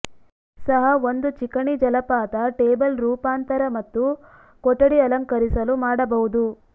ಸಹ ಒಂದು ಚಿಕಣಿ ಜಲಪಾತ ಟೇಬಲ್ ರೂಪಾಂತರ ಮತ್ತು ಕೊಠಡಿ ಅಲಂಕರಿಸಲು ಮಾಡಬಹುದು